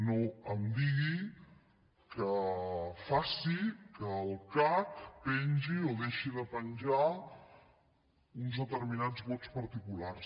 no em digui que faci que el cac pengi o deixi de penjar uns determinats vots particulars